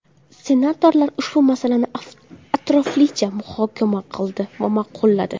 Senatorlar ushbu masalani atroflicha muhokama qildi va ma’qulladi.